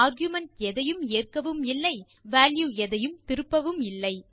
argument எதையும் ஏற்கவும் இல்லை வால்யூ எதையும் திருப்பவும் இல்லை